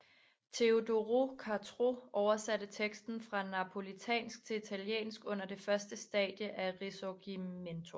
Teodoro Cottrau oversatte teksten fra napolitansk til italiensk under det første stadie af risorgimento